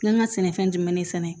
N ka sɛnɛfɛn jumɛn de sɛnɛ